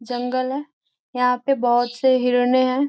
जंगल है यहाँ पे बहुत से हिरनें हैं।